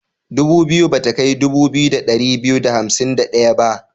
Dubu biyu ba ta kai dubu biyu da ɗari biyu da hamsin da ɗaya ba.